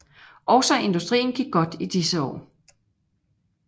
Også industrien gik godt i disse år